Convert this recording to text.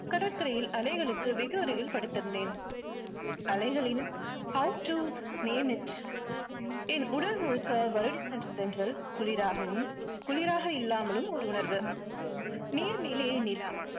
கடற்கரையில் அலைகளுக்கு வெகு அருகில் படுத்திருந்தேன். அலைகளின் how to name it என் உடல் முழுக்க வருடி சென்ற தென்றல் குளிராகவும் குளிராக இல்லாமலும் ஒரு உணர்வு. நீர் மேலே நிலா